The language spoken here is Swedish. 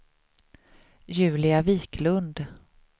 Julia Viklund